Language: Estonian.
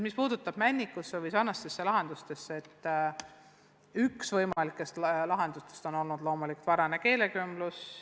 Mis puutub Männiku lasteaeda ja teistesse samasugustesse lasteaedadesse, siis üks võimalik lahendus on loomulikult varane keelekümblus.